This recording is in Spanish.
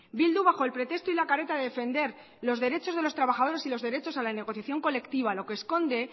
bildu bajo el pretexto y la careta de defender los derechos de los trabajadores y los derechos a la negociación colectiva lo que esconde